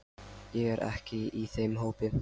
Ég er ekki í þeim hópi.